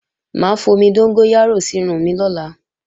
Mà á fomi dóngóyárò sírun mi lọ́la